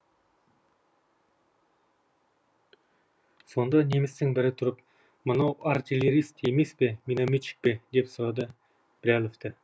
сонда немістің бірі тұрып мынау артиллерист емес пе минометчик пе деп сұрады біләловті